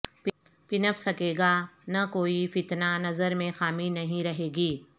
پنپ سکے گا نہ کوئی فتنہ نظر میں خامی نہیں رہے گی